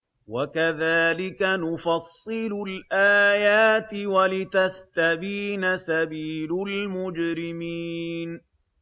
وَكَذَٰلِكَ نُفَصِّلُ الْآيَاتِ وَلِتَسْتَبِينَ سَبِيلُ الْمُجْرِمِينَ